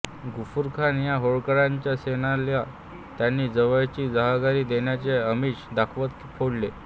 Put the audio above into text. गफुरखान या होळकरांच्या सेनानीला त्यांनी जावयाची जहागिरी देण्याचे आमिष दाखवत फोडले